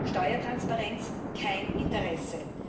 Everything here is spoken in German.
Steuertransparenz kein Interesse.